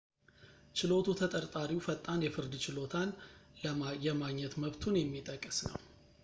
ችሎቱ ተጠርጣሪው ፈጣን የፍርድ ችሎታን የማግኘት መብቱን የሚጠቅስ ነው